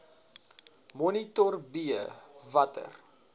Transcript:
monitor b watter